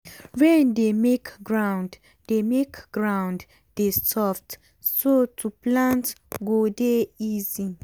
rain dey make ground dey make ground dey soft so to plant go dey easy.